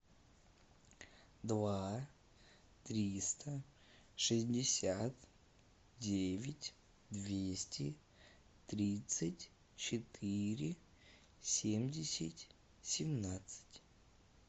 два триста шестьдесят девять двести тридцать четыре семьдесят семнадцать